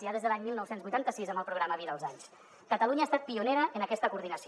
ja des de l’any dinou vuitanta sis amb el programa vida als anys catalunya ha estat pionera en aquesta coordinació